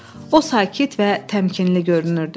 O sakit və təmkinli görünürdü.